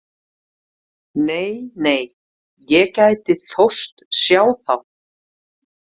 Nei, nei, ég gæti þóst sjá þá.